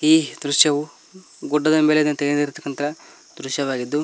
ಈ ದೃಶ್ಯವು ಗುಡ್ಡದ ಮೇಲೆ ತೆಗೆದಿರತಕ್ಕಂತಹ ದೃಶ್ಯವಾಗಿದ್ದು--